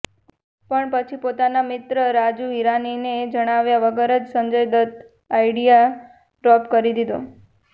પણ પછી પોતાના મિત્ર રાજુ હિરાનીને જણાવ્યા વગર જ સંજય દત્ત આઈડિયા ડ્રોપ કરી દીધો